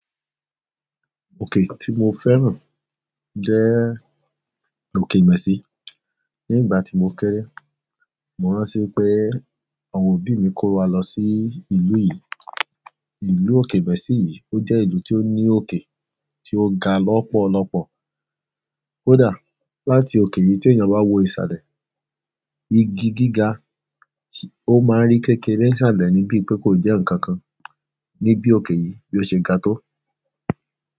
Òkè tí mo fẹ́ràn jẹ́ òkè Ìmẹ̀sí. Ní ìgbà tí mo kéré, mo rántí wípé àwọn òbí mi kó wa lọ sí ìlú yìí. Ìlú òkè Ìmẹ̀sí yìí, ó jẹ́ ìlú tí ó ní òkè, tí ó ga lọ́pọ̀lọpọ̀. Kódà láti òkè yìí téèyàn bá wo ìsàlẹ̀, igi gíga, ó máa ń rí kékeré ńsàlẹ ni bíi pé kò jẹ́ nǹkan kan, ní bí òkè yìí bí ó ṣe ga tó.